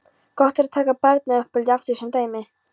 Gott er að taka barnauppeldið aftur sem dæmi.